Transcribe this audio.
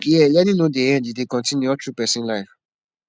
here learning no dey end e dey continue all through person life